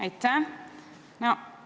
Aitäh!